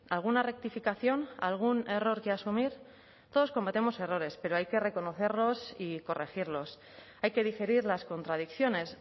alguna rectificación algún error que asumir todos cometemos errores pero hay que reconocerlos y corregirlos hay que digerir las contradicciones